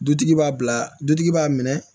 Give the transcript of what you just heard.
Dutigi b'a bila dutigi b'a minɛ